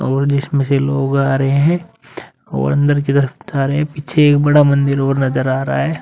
और जिसमे से लोग आ रहे हैं और अंदर की तरफ़ पीछे एक बड़ा मंदिर और नज़र आ रहा है।